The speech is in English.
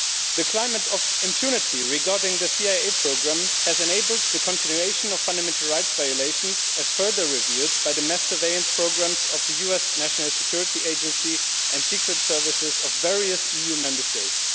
The climate of impunity regarding the CIA programme has enabled the continuation of fundamental rights violations as further revealed by the mass surveillance programmes of the US National Security Agency and secret services of various EU Member States.